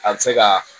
A bɛ se ka